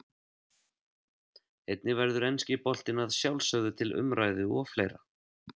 Einnig verður enski boltinn að sjálfsögðu til umræðu og fleira.